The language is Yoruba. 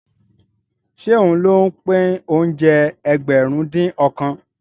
Ṣé òun ló pín oúnjẹ Ẹgbẹ̀rin-dín-ọ̀kan?